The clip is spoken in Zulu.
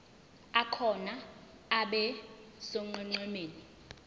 akhona abe sonqenqemeni